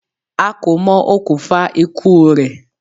A kò mọ okùnfà ikú u rẹ̀.